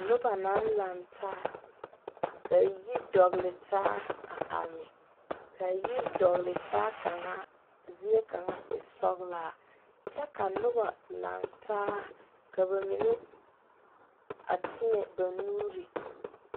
Noba naŋ laŋe taa ka yiri dɔgeli taa a are, kaa yiri dɔgeli taa zie kaŋa e sɔglaa, ka noba laŋe taa ka ba mine teɛŋ ba nuuri